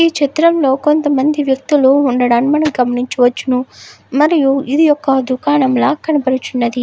ఈ చిత్రం లో కొంత మంది వ్యక్తులు వుండడం మనం గమనించవచ్చు. మరియు ఇది ఒక దుకాణంల కనిపిస్తునది.